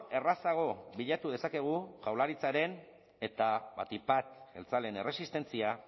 errazago bilatu dezakegu jaurlaritzaren eta batik bat jeltzaleen erresistentzia